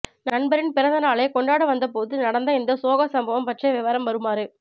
நண்பரின் பிறந்த நாளைக் கொண்டாட வந்த போது நடந்த இந்த சோக சம்பம் பற்றிய விவரம் வருமாறு